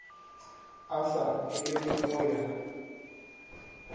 a sa elele go ya